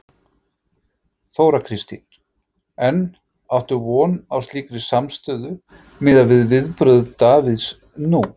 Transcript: Þóra Kristín: En áttu von á slíkri samstöðu miðað við viðbrögð Davíðs nú?